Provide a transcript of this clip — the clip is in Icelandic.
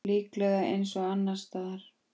Líklega eins og annars staðar.